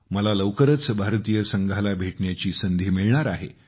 मला लवकरच भारतीय संघाला भेटण्याची संधी मिळणार आहे